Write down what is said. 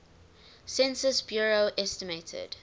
census bureau estimated